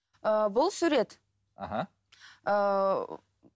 ыы бұл сурет аха ыыы